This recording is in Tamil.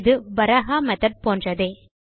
இது பராஹா மெத்தோட் போன்றதே